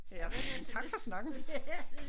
Tak for snakken